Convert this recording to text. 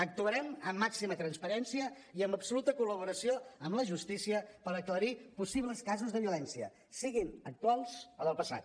actuarem amb màxima transparència i amb absoluta col·laboració amb la justícia per aclarir possibles casos de violència siguin actuals o del passat